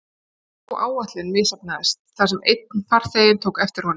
Sú áætlun misheppnaðist þar sem einn farþeginn tók eftir honum.